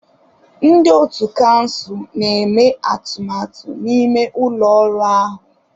Ndị ọ̀tú kansụl na-eme atụmatụ n'ime ụlọ ọrụ ahụ.